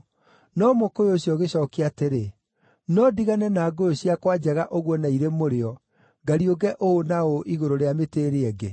“No mũkũyũ ũcio ũgĩcookia atĩrĩ, ‘No ndigane na ngũyũ ciakwa njega ũguo na irĩ mũrĩo, ngariũnge ũũ na ũũ igũrũ rĩa mĩtĩ ĩrĩa ĩngĩ?’